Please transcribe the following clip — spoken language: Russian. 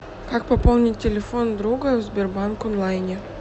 как пополнить телефон друга в сбербанк онлайне